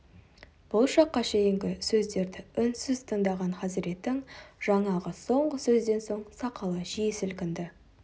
бұл шаққа шейінгі сөздерді үнсіз тыңдаған хазіреттің жаңағы соңғы сөзден соң сақалы жиі сілкінді